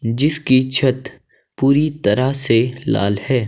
जिसकी छत पूरी तरह से लाल है।